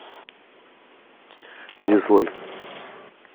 дизлайк